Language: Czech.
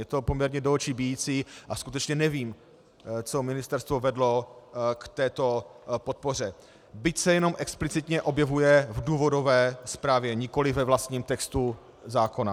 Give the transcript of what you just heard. Je to poměrně do očí bijící a skutečně nevím, co ministerstvo vedlo k této podpoře, byť se jenom explicitně objevuje v důvodové zprávě, nikoli ve vlastním textu zákona.